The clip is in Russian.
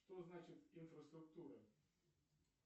что значит инфраструктура